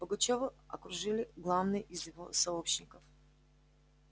пугачёва окружили главные из его сообщников